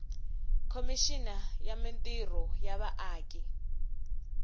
khomixini ya mintirho ya vaaki